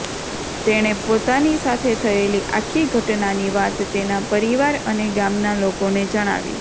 તેણે પોતાની સાથે થયેલી આખી ઘટનાની વાત તેના પરિવાર અને ગામના લોકોને જણાવી